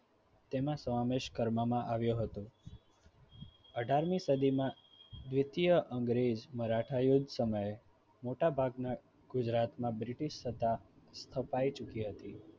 તેમાં સમાવેશ કરવામાં આવ્યો હતો અઢાર મી સદીમા દ્વિતીય અંગ્રેજ મરાઠા યૂથ સમયે મોટાભાગના ગુજરાતમાં બ્રિટીશ સત્તા હપાઈ ચૂકી હતી